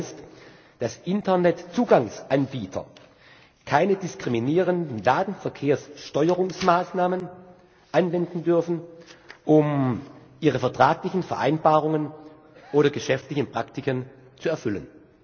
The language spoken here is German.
Das heißt, dass Internetzugangs Anbieter keine diskriminierenden Datenverkehrssteuerungsmaßnahmen anwenden dürfen, um ihre vertraglichen Vereinbarungen oder geschäftlichen Praktiken zu erfüllen.